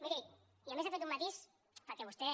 miri i a més ha fet un matís perquè vostè